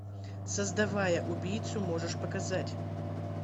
создавая убийцу можешь показать